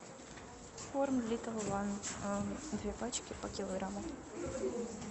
корм литл ван две пачки по килограмму